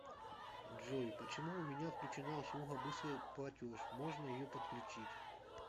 джой почему у меня отключена услуга быстрый платеж можно ее подключить